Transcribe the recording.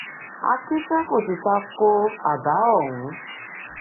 akinfe kò sì ta ko àbá ọhún